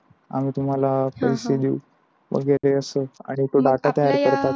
आम्ही तुम्हाला पैसे देऊ मग येते असच आणि डाटा तयार करतात.